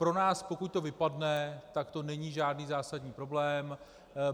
Pro nás, pokud to vypadne, tak to není žádný zásadní problém.